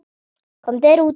Komdu þér út.